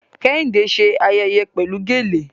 Kẹ́hìndé ṣe ayẹyẹ pẹ̀lú gèlè